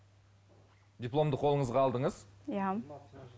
дипломды қолыңызға алдыңыз иә